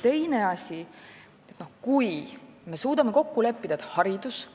Teine asi, kui me suudame kokku leppida, et haridus,